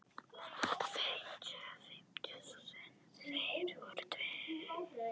Þeir eru tveir.